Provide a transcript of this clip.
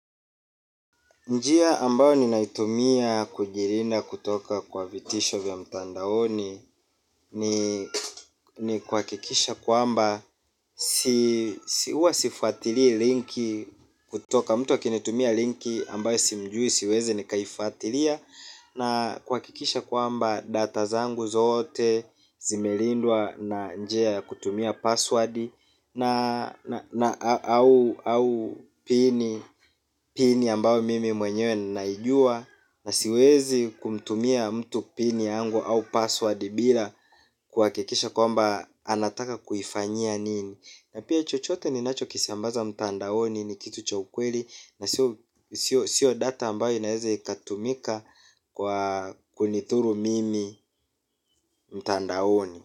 Njia ambayo ninaitumia kujilinda kutoka kwa vitisho vya mtandaoni ni ni kuhakikisha kwamba si hua sifuatilii linki kutoka mtu akinitumia linki ambayo simjui siweze nikaifatilia. Na kuhakikisha kwamba data zangu zote zimelindwa na njia ya kutumia password na na au pini ambao mimi mwenyewe ninaijua na siwezi kumtumia mtu pini yangu au password bila kuhakikisha kwamba anataka kuifanyia nini. Na pia chochote ninacho kisambaza mtandaoni ni kitu cha ukweli na sio sio data ambayo inaeze ikatumika kwa kunidhuru mimi mtandaoni.